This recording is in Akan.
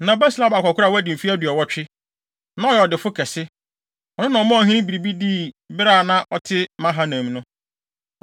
Na Barsilai abɔ akwakoraa a wadi mfe aduɔwɔtwe, na ɔyɛ ɔdefo kɛse. Ɔno na ɔmaa ɔhene biribi dii bere a na ɔte Mahanaim no.